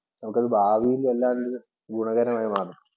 നമുക്കത് ഭാവിയിൽ വല്ലാണ്ട് ഗുണകരമായി മാറും.